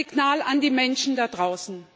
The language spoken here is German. Es ist ein Signal an die Menschen da draußen.